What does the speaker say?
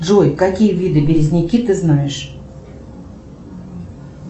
джой какие виды березники ты знаешь